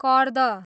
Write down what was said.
कर्द